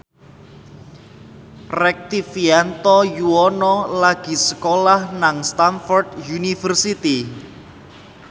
Rektivianto Yoewono lagi sekolah nang Stamford University